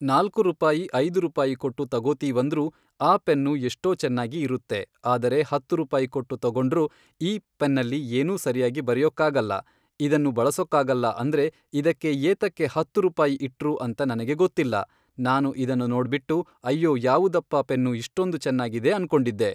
ನಾಲ್ಕು ರೂಪಾಯಿ ಐದು ರೂಪಾಯಿ ಕೊಟ್ಟು ತಗೋತೀವಂದ್ರೂ ಆ ಪೆನ್ನು ಎಷ್ಟೋ ಚೆನ್ನಾಗಿ ಇರುತ್ತೆ ಆದರೆ ಹತ್ತು ರೂಪಾಯಿ ಕೊಟ್ಟು ತಗೊಂಡ್ರೂ ಈ ಪೆನ್ನಲ್ಲಿ ಏನೂ ಸರಿಯಾಗಿ ಬರೆಯೋಕ್ಕಾಗಲ್ಲ ಇದನ್ನು ಬಳಸೋಕಾಗಲ್ಲ ಅಂದರೆ ಇದಕ್ಕೆ ಏತಕ್ಕೆ ಹತ್ತು ರುಪಾಯಿ ಇಟ್ರು ಅಂತ ನನಗೆ ಗೊತ್ತಿಲ್ಲ ನಾನು ಇದನ್ನು ನೋಡ್ಬಿಟ್ಟು ಅಯ್ಯೋ ಯಾವುದಪ್ಪ ಪೆನ್ನು ಇಷ್ಟೊಂದು ಚೆನ್ನಾಗಿದೆ ಅನ್ಕೊಂಡಿದ್ದೆ.